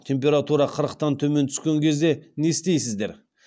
температура қырықтан төмен түскен кезде не істейсіздер